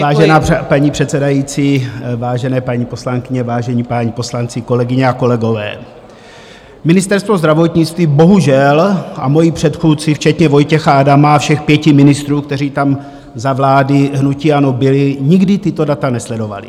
Vážená paní předsedající, vážené paní poslankyně, vážení páni poslanci, kolegyně a kolegové, Ministerstvo zdravotnictví bohužel, a moji předchůdci včetně Vojtěcha Adama a všech pěti ministrů, kteří tam za vlády hnutí ANO byli, nikdy tato data nesledovali.